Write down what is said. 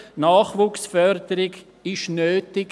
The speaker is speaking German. Nachwuchsförderung ist nötig.